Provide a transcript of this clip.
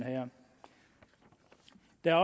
der